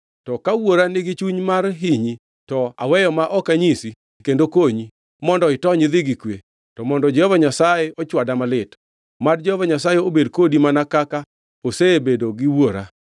To ka wuora nigi chuny mar hinyi, to aweyo ma ok anyisi kendo konyi mondo itony idhi gi kwe, to mondo Jehova Nyasaye ochwada malit. Mad Jehova Nyasaye obed kodi mana kaka osebedo gi wuora.